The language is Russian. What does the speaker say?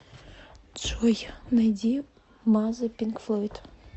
джой найди мазер пинк флойд